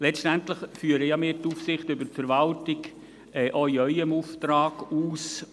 Letztendlich führen ja wir die Aufsicht über die Verwaltung auch in Ihrem Auftrag aus.